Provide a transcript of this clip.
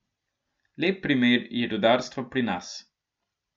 Lep primer je rudarstvo pri nas.